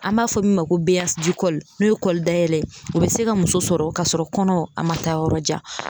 An m'a fɔ min ma ko n'o ye kɔli dayɛlɛ ye o bɛ se ka muso sɔrɔ ka sɔrɔ kɔnɔ a man taa yɔrɔ jan.